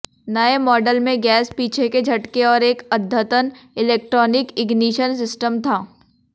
नए मॉडल में गैस पीछे के झटके और एक अद्यतन इलेक्ट्रॉनिक इग्निशन सिस्टम था